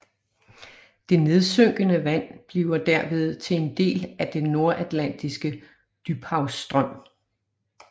Det nedsynkende vand bliver derved til en del af den Nordatlantiske Dybhavsstrøm